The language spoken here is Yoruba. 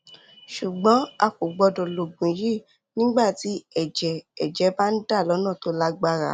ṣùgbọn a kò gbọdọ lo oògùn yìí nígbà tí ẹjẹ ẹjẹ bá ń dà lọnà tó lágbára